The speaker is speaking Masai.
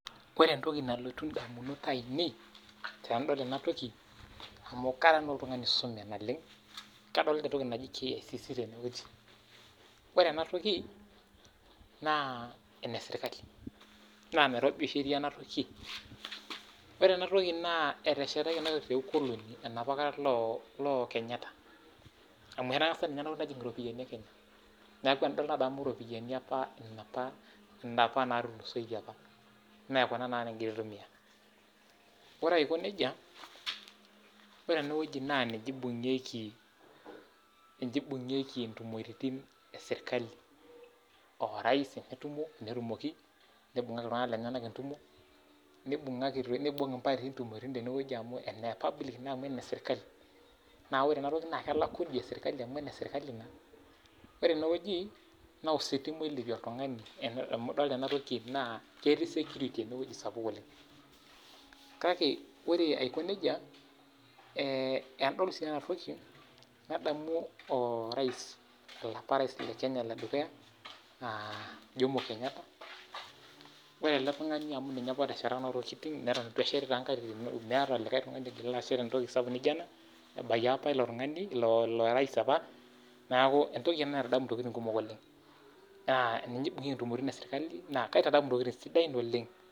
Ore entoki nalotu ndamunot ainei tendaol ena toki amu karaa na oltungani oisume naleng, kadolita entoki naji KICC teneweji ,ore ena toki naa eneserkali, naa Nairobi oshi etii enatoki, ore ena toki naa eteshataki ena toki te ukoloni enapakata etii lookenyata, amu entangasa ninye enatoki ninye najing iropiyiani ekenya neeku tnadol nadamu ropiani apa natulusoitie apa mee kuna tenakata nikingira aitumiyia ore aiko nejia ,ore eneweji naa ninye eibungieki intumoriti esirkali orais tenetumoki, neibungaki iltunganak lenyenak entumo ,neibung impatii ntumoritin teneweji amu ene public naa amu enesrkali neeku ore enatoki naa kelaaku Idia serkali amu eneserkali na, ore eneweji naa ositima oilepie oltungani amu idolita eneweji naa ketii security oleng sapuk oleng. kake ore aiko nejia, tenadol enatoki nadamu orais olapa rais ledukuya lekenya, jomo kenyata ore ele tungani amu ninye apa otesheta Kuna tokiting meeta likae tungani ojo keshet entoki sapuk naijo ana ,ebayie apa ilo rais apa neeku entoki ena naitadamu ntokiting kumok oleng, naa ninye eibungieki ntumoritin esirkali naa kaitadamu ntokiting kumok oleng.